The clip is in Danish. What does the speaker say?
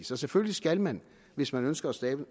så selvfølgelig skal man hvis man ønsker at skabe